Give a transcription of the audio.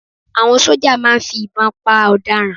Àwọn sójà màá ń fi ìbọn pa ọ̀daràn